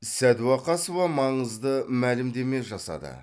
сәдуақасова маңызды мәлімдеме жасады